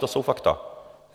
To jsou fakta.